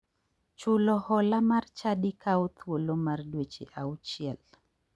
Chulo hola mar chadi kawo thuolo mar dweche auchiel